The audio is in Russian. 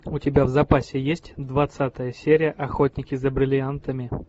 у тебя в запасе есть двадцатая серия охотники за бриллиантами